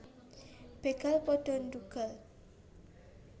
Begal pada ndhugal